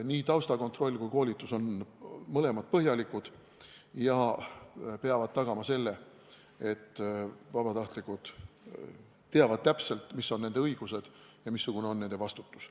Nii taustakontroll kui ka koolitus on põhjalikud ja peavad tagama selle, et vabatahtlikud teavad täpselt, mis on nende õigused ja missugune on nende vastutus.